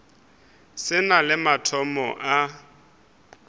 se na le mathomo a